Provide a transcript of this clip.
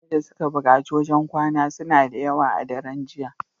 Mutane da suka bukaci wajan kwana suna dayawa a daran jiya